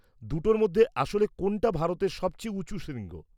দুটোর মধ্যে আসলে কোনটা ভারতে সবচেয়ে উঁচু শৃঙ্গ?